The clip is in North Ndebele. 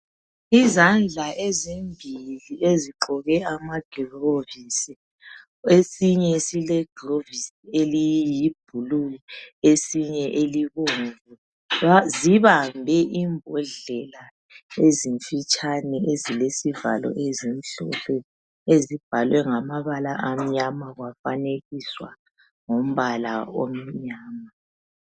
Izandla ezimbili ezigqoke amagilovisi. Esinye silegilovisi eliyiblue. esinye elibomvu. Zibambe imbodlela ezimfitshane, ezilezivalo ezimhlophe..Ezibhalwe ngamabala amnyama. Kwafanekiswa ngombala omnyama.